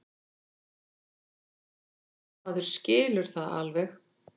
Maður skilur það alveg.